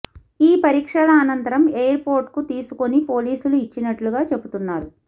ఈ పరీక్షల అనంతరం ఎయిర్ పోర్ట్కు తీసుకొని పోలీసులకు ఇచ్చినట్లుగా చెబుతున్నారు